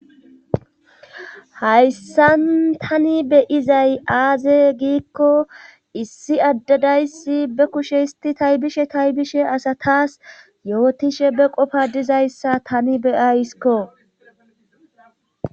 Hayssan tani be'izay aaze giikko issi adde dayssi be kushe histi taybishe taybishe asatas yootishe be qofa dizayssa tani be'ayskko.